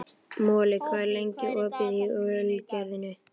Moli, hvað er lengi opið í Ölgerðinni?